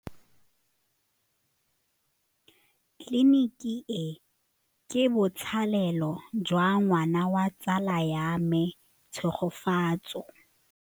Tleliniki e, ke botsalêlô jwa ngwana wa tsala ya me Tshegofatso.